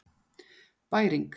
Bæring